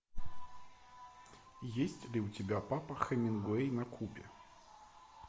есть ли у тебя папа хемингуэй на кубе